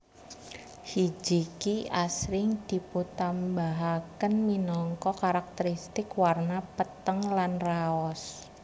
Hijiki asring dipuntambahaken minangka karakterisitik warna peteng lan raos